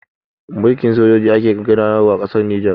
Mulkin sojoji ake gudanarwa a ƙasar Nijar